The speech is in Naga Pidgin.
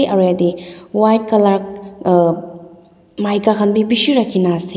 aro yatae white colour maika khan bi bishi ralhikaena ase.